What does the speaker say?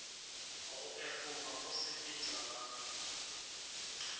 go efoga go sepetšwa ga